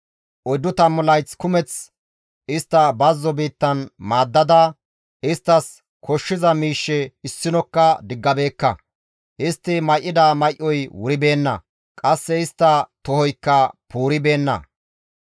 Oyddu tammu layth kumeth istta bazzo biittan maaddada isttas koshshiza miishshe issinokka diggabeekka; istti may7ida may7oy wuribeenna; qasse istta tohoykka puuribeenna.